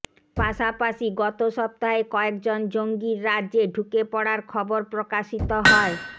পাশাপাশি গত সপ্তাহে কয়েকজন জঙ্গির রাজ্যে ঢুকে পড়ার খবর প্রকাশিত হয়